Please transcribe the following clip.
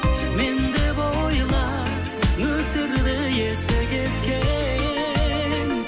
мен деп ойла нөсерді есі кеткен